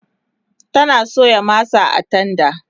yana soya masa a tenda